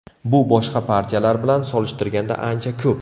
Bu boshqa partiyalar bilan solishtirganda ancha ko‘p.